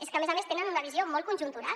és que a més a més tenen una visió molt conjuntural